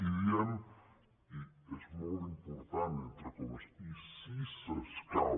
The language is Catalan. i diem i és molt important entre comes i si s’escau